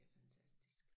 Det fantastisk